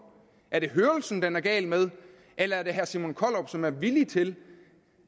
er det hørelsen den er gal med eller er det herre simon kollerup som er villig til